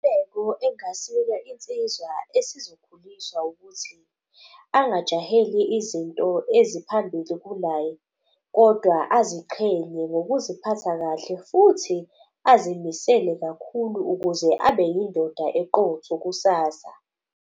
Engasinika insizwa esizokhuliswa ukuthi angajaheli izinto eziphambili kunaye. Kodwa aziqhenye ngokuziphatha kahle, futhi azimisele kakhulu ukuze abe yindoda eqotho kusasa.